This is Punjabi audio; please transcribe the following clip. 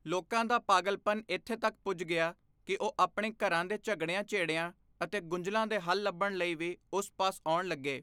ਲੋਕਾਂ ਦਾ ਪਾਗਲਪਨ ਇਥੇ ਤੱਕ ਪੁੱਜ ਗਿਆ ਕਿ ਉਹ ਆਪਣੇ ਘਰਾਂ ਦੇ ਝਗੜਿਆਂ ਝੇੜਿਆਂ ਅਤੇ ਗੁੰਝਲਾਂ ਦੇ ਹੱਲ ਲੱਭਣ ਲਈ ਵੀ ਉਸ ਪਾਸ ਆਉਣ ਲੱਗੇ।